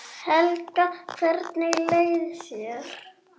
Helga: Hvernig leið þér?